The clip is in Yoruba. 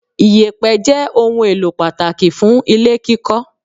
Ìyẹ̀pẹ̀ jẹ́ ohun èlò pàtàkì fún ilé kíkọ